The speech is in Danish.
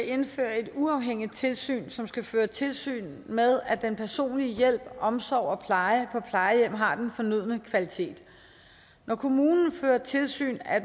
at indføre et uafhængigt tilsyn som skal føre tilsyn med at den personlige hjælp omsorg og pleje på plejehjem har den fornødne kvalitet når kommunen fører tilsyn er